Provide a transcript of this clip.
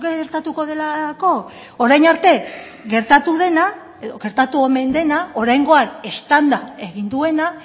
gertatuko delako orain arte gertatu dena edo gertatu omen dena oraingoan eztanda egin duena